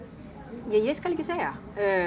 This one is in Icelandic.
ég skal ekki segja